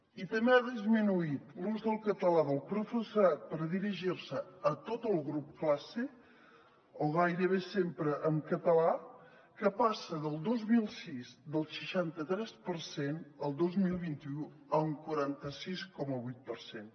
i també ha disminuït l’ús del català del professorat per dirigir se a tot el grup classe o gairebé sempre en català que passa el dos mil sis del seixanta tres per cent a el dos mil vint u un quaranta sis coma vuit per cent